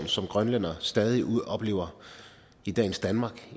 som grønlændere stadig oplever i dagens danmark